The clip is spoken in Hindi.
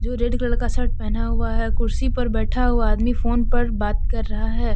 रेड कलर का शर्ट पहना हुआ है कुर्सी पर बैठा हुआ आदमी फोन पर बात कर रहा है।